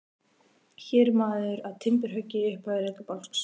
Hér er maður að timburhöggi í upphafi rekabálks.